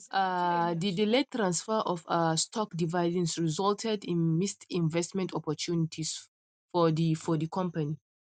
um the delayed transfer of um stock dividends resulted in missed investment opportunities for the for the company